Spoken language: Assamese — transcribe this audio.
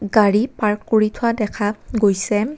গাড়ী পাৰ্ক কৰি থোৱা দেখা গৈছে।